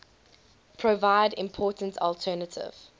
provide important alternative